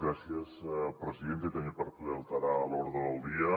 gràcies presidenta també per poder alterar l’ordre del dia